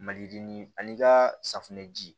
Mali ani ka safunɛ ji